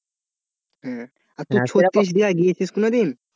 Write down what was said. আর তুই ছত্রিশ বিঘায় গিয়েছিস কোনোদিন?